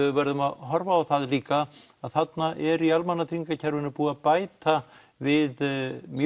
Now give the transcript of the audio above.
við verðum að horfa á það líka að þarna er í almannatryggingakerfinu búið að bæta við mjög